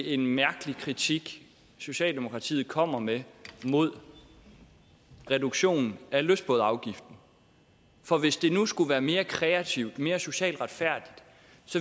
en mærkelig kritik socialdemokratiet kommer med af reduktion af lystbådeafgiften for hvis det nu skulle være mere kreativt mere socialt retfærdigt